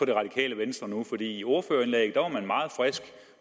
det radikale venstre i ordførerindlægget var man meget frisk